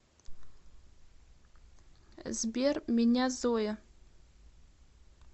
сбер меня зоя